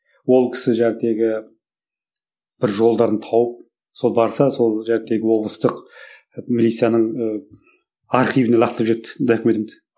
ол кісі бір жолдарын тауып сол барса сол облыстық милицияның ыыы архивіне лақтырып жіберіпті документімді